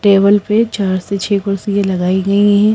Table पे चार से छह कुर्सी लगाई गई हैं।